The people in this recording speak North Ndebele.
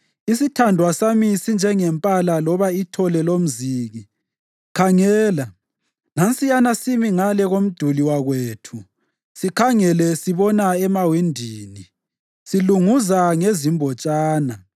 Isithandwa sami sinjengempala loba ithole lomziki. Khangela! Nansiyana simi ngale komduli wakwethu, sikhangele sibona emawindini, silunguza ngezimbotshana.